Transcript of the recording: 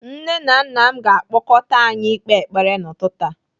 Nne na nna m ga-akpọkọta anyị ikpe ekpere n'ụtụtụ a.